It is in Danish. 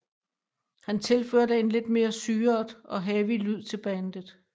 Han tilførte en lidt mere syret og heavy lyd til bandet